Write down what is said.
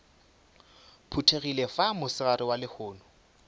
phuthegile fa mosegareng wa lehono